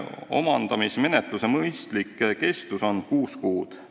Omandamismenetluse mõistlik kestus on kuus kuud.